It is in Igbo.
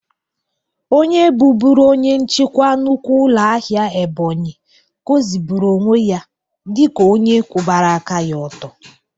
Onye bụbụrụ onye nchịkwa nnukwu ụlọ ahịa Ebonyi goziburu onwe ya dịka onye kwụbara aka ya ọtụ.